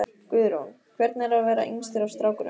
Guðrún: Hvernig er að vera yngstur af strákunum?